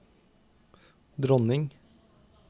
dronning